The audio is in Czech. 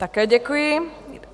Také děkuji.